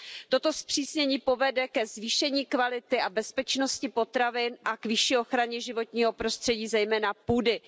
Toto zpřísnění povede ke zvýšení kvality a bezpečnosti potravin a k vyšší ochraně životního prostředí, zejména půdy.